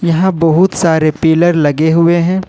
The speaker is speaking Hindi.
यहां बहुत सारे पिलर लगे हुए हैं।